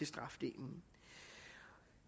strafdelen